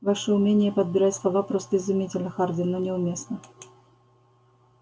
ваше умение подбирать слова просто изумительно хардин но неуместно